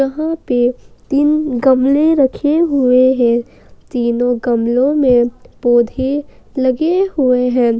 यहां पे तीन गमले रखे हुए हैं तीनों गमलो में पौधे लगे हुए हैं।